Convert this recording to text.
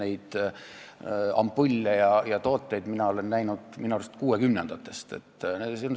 Neid ampulle ja tooteid olen mina näinud oma arust 1960-ndatest alates.